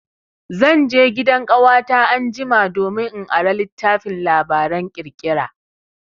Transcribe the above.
Zan je gidan ƙawata anjima domin in ara littafin labaran ƙirƙira.